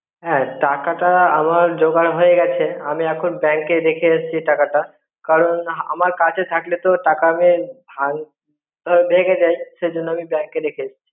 হ্যাঁ টাকাটা আমার জোগাড় হয়ে গেছে. আমি এখন bank এ রেখে এসছি টাকা টা. কারণ আমার কাচে থাকলে তো টাকা মে ভে~ ভেগে যাই সেজন্য আমি bank এ রেখে চি.